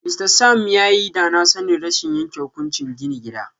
Mr Sam yayi danasanin rashin yanke hukunci gini gida.